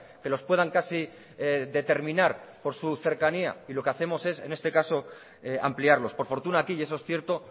que los puedan casi determinar por su cercanía y lo que hacemos es en este caso ampliarlos por fortuna aquí y eso es cierto